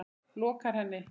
lokar henni.